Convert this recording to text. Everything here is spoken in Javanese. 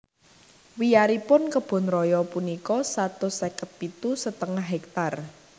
Wiyaripun Kebun Raya punika satus seket pitu setengah hektar